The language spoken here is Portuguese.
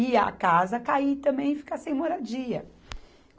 E a casa cair também, ficar sem moradia.